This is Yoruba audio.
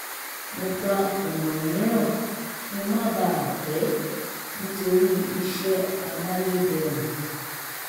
mo gba ọ̀nà mìíràn kí n má bà a pẹ́ nítorí iṣẹ́ amáyédẹrùn